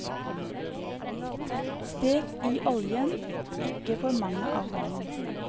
Stek i oljen, ikke for mange av gangen.